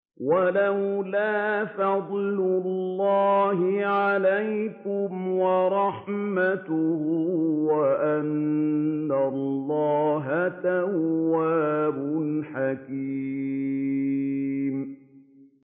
وَلَوْلَا فَضْلُ اللَّهِ عَلَيْكُمْ وَرَحْمَتُهُ وَأَنَّ اللَّهَ تَوَّابٌ حَكِيمٌ